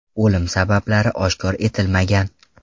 O‘lim sabablari oshkor etilmagan.